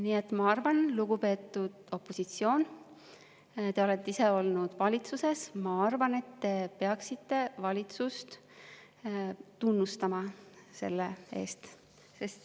Nii et, lugupeetud opositsioon, te olete ise olnud valitsuses ja ma arvan, et te peaksite valitsust tunnustama selle eest.